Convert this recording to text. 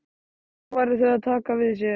Þá færu þau að taka við sér.